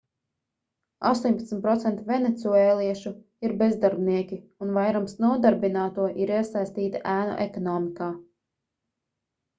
18% venecuēliešu ir bezdarbnieki un vairums nodarbināto ir iesaistīti ēnu ekonomikā